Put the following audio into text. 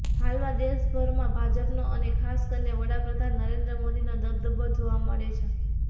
હાલમાં દેશભરમાંભાજપનો અને ખાસ કરીને વડાપ્રધાન નરેન્દ્ર મોદીનો દબદબો જોવા મળે છે